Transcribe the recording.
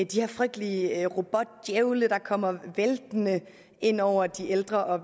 de her frygtelige robotdjævle der kommer væltende ind over de ældre og